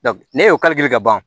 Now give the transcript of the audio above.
ne y'o ka ban